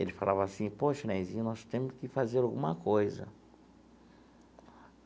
Ele falava assim... Poxa, Nezinho, nós temos que fazer alguma coisa.